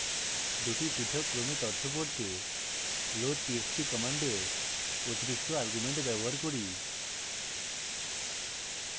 দুটি পৃথক ক্রমে তথ্য পড়তে loadtxt command অতিরিক্ত argument ব্যবহার করি